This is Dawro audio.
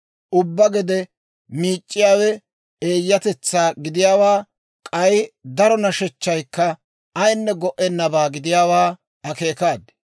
Ubbaa gede miic'c'iyaawe eeyyatetsaa gidiyaawaa, k'ay daro nashechchaykka ayinne go"ennabaa gidiyaawaa akeekaad.